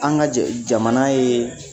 An ga jɛ jamana ye